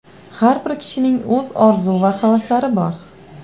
Har bir kishining o‘z orzu va havaslari bor.